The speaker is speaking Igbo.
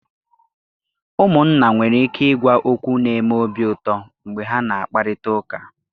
Ụmụnna nwere ike ịgwa okwu n'eme obi uto mgbe ha na-akparịta ụka.